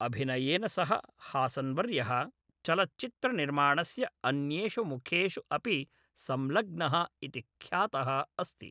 अभिनयेन सह हासन्वर्यः चलच्चित्रनिर्माणस्य अन्येषु मुखेषु अपि संलग्नः इति ख्यातः अस्ति।